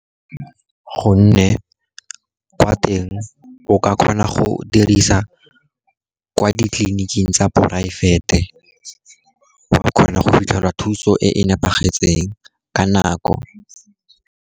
Gonne kwa teng o ka kgona go dirisa kwa ditleliniking tsa poraefete, o a kgona go fitlhela thuso e nepagetseng ka nako.